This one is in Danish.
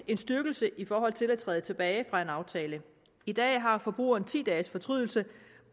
en styrkelse i forhold til at træde tilbage fra en aftale i dag har forbrugeren ti dages fortrydelse